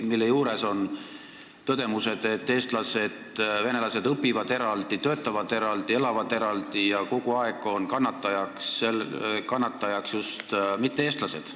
Ja selle juures on tõdemused, et eestlased ja venelased õpivad eraldi, töötavad eraldi ja elavad eraldi ning kogu aeg on kannatajateks just mitte-eestlased.